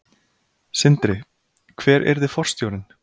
Sindri: Hver yrði forstjórinn?